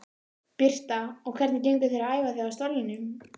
Birta: Og hvernig gengur þér að æfa þig á stólnum?